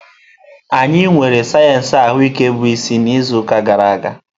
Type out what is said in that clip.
Anyị nwere sayensị ahụike bụ isi n'izu gara aga.